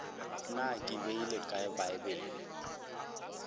na ke beile kae bibele